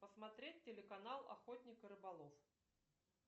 посмотреть телеканал охотник и рыболов